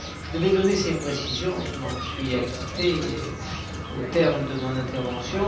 Je devais donner ces précisions, et je m'en suis acquitté au terme de mon intervention.